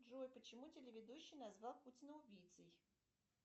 джой почему телеведущий назвал путина убийцей